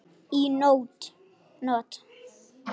Í nótt?